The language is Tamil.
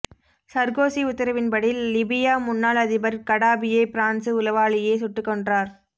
சர்கோசி உத்தரவின்படி லிபியா முன்னாள் அதிபர் கடாபியை பிரான்சு உளவாளியே சுட்டுக் கொன்றார்